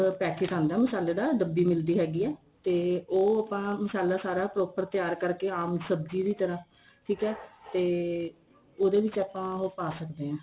packet ਆਂਦਾ ਮਸਾਲੇ ਦਾ ਡਬੀ ਮਿਲਦੀ ਹੈਗੀ ਏ ਤੇ ਉਹ ਆਪਾਂ ਮਸਾਲਾ ਸਾਰਾ proper ਤਿਆਰ ਕਰਕੇ ਆਮ ਸਬਜੀ ਦੀ ਤਰ੍ਹਾਂ ਠੀਕ ਏ ਤੇ ਉਹਦੇ ਵਿੱਚ ਆਪਾਂ ਉਹ ਪਾ ਸਕਦੇ ਆ